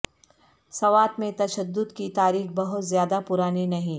سوات میں تشدد کی تاریخ بہت زیادہ پرانی نہیں